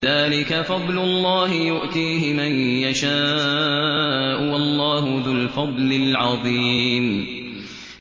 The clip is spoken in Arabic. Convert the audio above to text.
ذَٰلِكَ فَضْلُ اللَّهِ يُؤْتِيهِ مَن يَشَاءُ ۚ وَاللَّهُ ذُو الْفَضْلِ الْعَظِيمِ